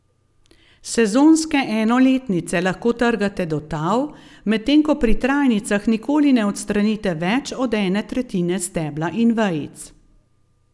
Sezonske enoletnice lahko trgate do tal, medtem ko pri trajnicah nikoli ne odstranite več od ene tretjine stebla in vejic.